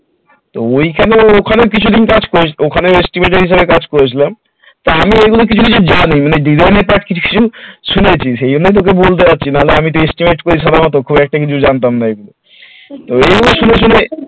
তো ওইটা তো ওইখানে কিছুদিন কাজ করেছিলাম ওখানে estimate এর কাজ করেছিলাম তা আমি এগুলো কিছু কিছু জানি মানে ডিজাইনের কাজ কিছু শিখেছি সেই জন্য তোকে বলতে পারছি না হলে আমি সাধারণত estimate সাধারণত খুব একটা কিছু জানতাম না এগুলো তো ওই গুলো শুনে শুনে